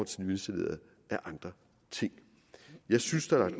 til nyinstallerede andre ting jeg synes der er